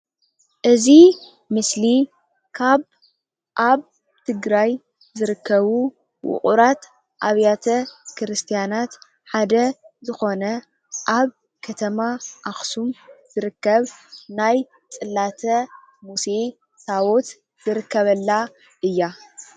እዚ ምስሊ ካብ ኣብ ትግራይ ዝርከቡ ዉቅራት ኣብያተ ክርስትያናት ሓደ ዝኮነ ኣብ ከተማ ኣክሱም ዝርከብ ናይ ፅላተ ሙሴ ታወት ዝርከበላ እያ።